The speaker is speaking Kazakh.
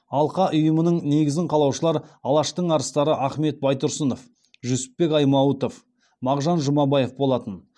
алқа ұйымының негізін қалаушылар алаштың арыстары ахмет байтұрсынов жүсіпбек аймауытов мағжан жұмабаев болатын